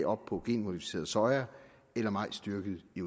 op på genmodificeret soya eller majs dyrket i